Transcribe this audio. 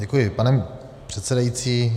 Děkuji, pane předsedající.